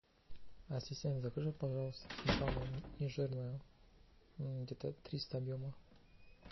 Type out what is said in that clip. ассистент закажи пожалуйста сметану нежирную где то триста объема